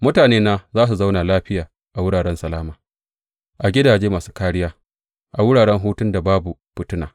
Mutanena za su zauna lafiya a wuraren salama, a gidaje masu kāriya, a wuraren hutun da babu fitina.